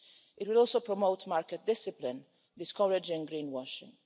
It will also promote market discipline, discouraging greenwashing.